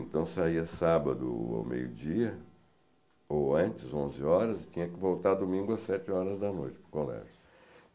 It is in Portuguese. Então saía sábado ou meio-dia, ou antes, onze horas, e tinha que voltar domingo às sete horas da noite para o colégio.